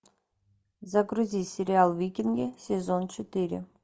загрузи сериал викинги сезон четыре